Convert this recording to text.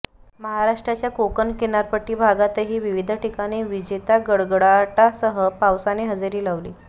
महाराष्ट्राच्या कोकण किनारपट्टी भागातही विविध ठिकाणी विजेता गडगडाटासह पावसाने हजेरी लावली